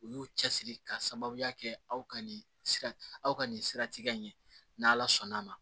U y'u cɛsiri k'a sababuya kɛ aw ka nin sira aw ka nin sira tigɛ in n'ala sɔnn'a ma